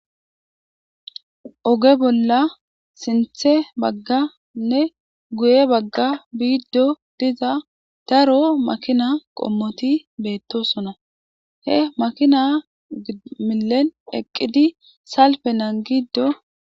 Oge bolla sinththe bagganne guye bagga biiddo diza daro makinaa qommothi beeththoosona; he makina millen eqqidi salppe naangiiddo.